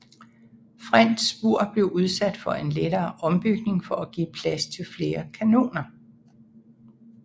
French Spur blev udsat for en lettere ombygning for at give plads til flere kanoner